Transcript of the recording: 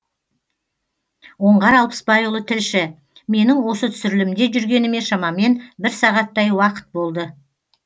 оңғар алпысбайұлы тілші менің осы түсірілімде жүргеніме шамамен бір сағаттай уақыт болды